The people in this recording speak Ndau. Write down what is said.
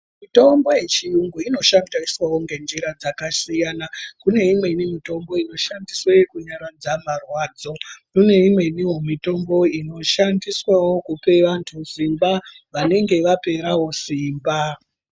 Mitombo yechiyungu inoshandiswawo ngenjira dzakasiyana kune imweni mitombo inoshandiswawo kunyaradza marwadzo kune imweni mitombo inoshandiswawo kupe vanthu simba vanenge vapera simba.